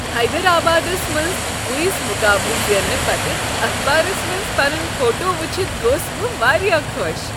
حیدرآبادس منز کوئز مقابلہٕ زیننہٕ پتہٕ اخبارس منز پنن فوٹو وُچھتھ گوس بہٕ واریاہ خوش۔